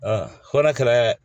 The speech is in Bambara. n'a kɛra